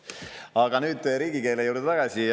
Aga nüüd riigikeele juurde tagasi.